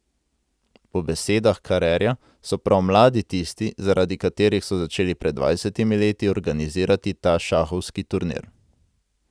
Po besedah Karerja so prav mladi tisti, zaradi katerih so začeli pred dvajsetimi leti organizirati ta šahovski turnir.